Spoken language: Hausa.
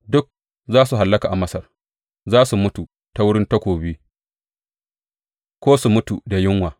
Duk za su hallaka a Masar; za su mutu ta wurin takobi ko su mutu da yunwa.